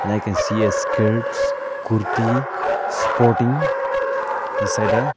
like i see a skirts kurti sporting inside the.